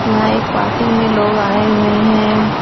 यहाँ एक पार्टी में लोग आए हुए हैं ।